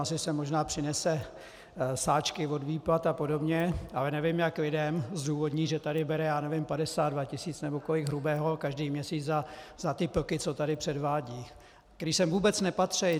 Asi sem možná přinese sáčky od výplat a podobně, ale nevím, jak lidem zdůvodní, že tady bere - já nevím - 52 tisíc nebo kolik hrubého každý měsíc za ty plky, co tady předvádí, které sem vůbec nepatří.